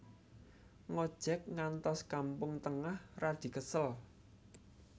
Ngojek ngantos Kampung Tengah radi kesel